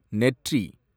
நெற்றி